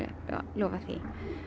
lofað því